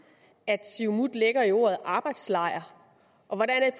siumut lægger i ordet arbejdslejr og